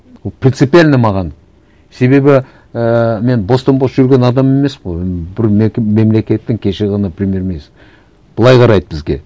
ол принципиально маған себебі ііі мен бостан бос жүрген адам емеспін ғой бір мемлекеттің кеше ғана премьер министрі былай қарайды бізге